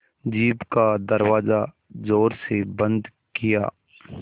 jeep का दरवाज़ा ज़ोर से बंद किया